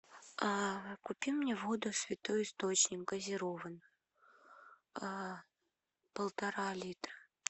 купи мне воду святой источник газированную полтора литра